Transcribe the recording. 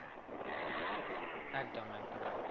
একদম একদম একদম